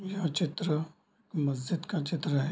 यह चित्र मस्ज़िद का चित्र है।